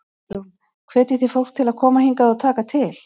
Hugrún: Hvetjið þið fólk til að koma hingað og taka til?